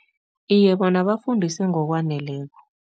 Iye, bona bafundiswe ngokwaneleko.